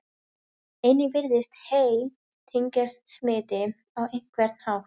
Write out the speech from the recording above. Einnig virðist hey tengjast smiti á einhvern hátt.